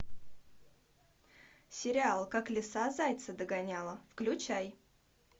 сериал как лиса зайца догоняла включай